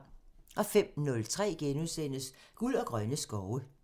05:03: Guld og grønne skove *(tir)